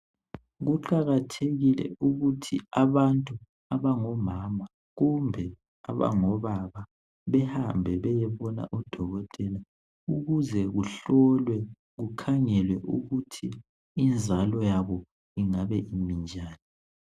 Kuqakathekile ukuthi abantu abangomama kumbe abangobaba bahambe bayebona odokotela ukuze kuhlolwe kukhangelwe ukuthi inzalo yabo ingabe imenjani..